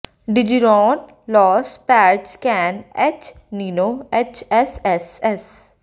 ਡਿਜੀਰੌਨ loss pads can H ਨਿਨੋ H S S S